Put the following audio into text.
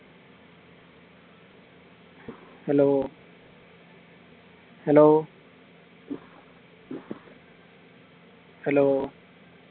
hello hello hello